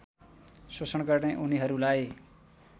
शोषण गर्ने उनीहरूलाई